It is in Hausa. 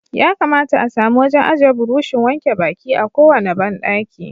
Ya kamata a samu wajen aje burushin wanke baki a kowane bandaki.